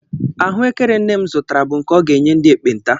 Ahụekere nne m zụtara bụ nke ọ ga-enye ndị ekpenta.